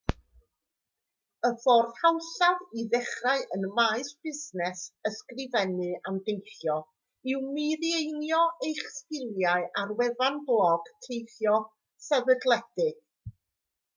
y ffordd hawsaf i ddechrau ym maes busnes ysgrifennu am deithio yw mireinio eich sgiliau ar wefan blog teithio sefydledig